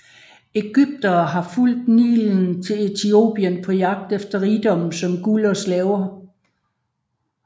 Egyptere havde fulgt Nilen til Etiopien på jagt efter rigdomme som guld og slaver